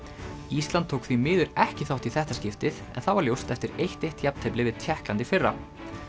ísland tók því miður ekki þátt í þetta skiptið en það var ljóst eftir eitt til eitt jafntefli við Tékkland í fyrra